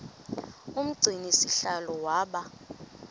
umgcini sihlalo waba